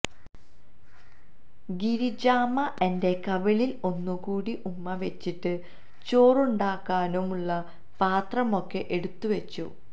ഗിരിജാമ്മ എന്റെ കവിളിൽ ഒന്നു കൂടി ഉമ്മ വെച്ചിട്ട് ചോറുണ്ടാക്കാനുള്ള പാത്രം ഒക്കെ എടുത്തു വെച്ചു